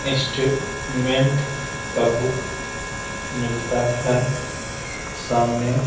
इंस्ट्रू मेंट का बुक मिलता है सामने --